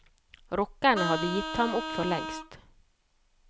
Rockerne hadde gitt ham opp for lengst.